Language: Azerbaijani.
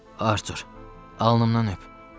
Artur, alnımdan öp.